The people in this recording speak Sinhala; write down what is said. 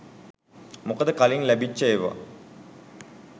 මොකද කලින් ලැබිච්ච එව්වා